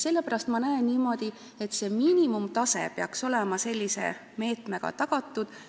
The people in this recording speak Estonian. Sellepärast ma arvan niimoodi, et miinimumtase peaks olema sellise meetmega tagatud.